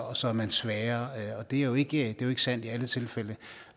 og så er man svagere det er jo ikke sandt i alle tilfælde